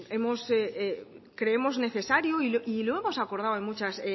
creemos necesario y lo hemos acordado en muchas